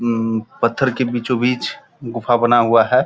उउ पत्थर के बीचो-बीच गुफा बना हुआ है।